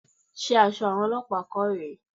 Ṣé aṣọ àwọn olọ́pàá kọ́ rè é?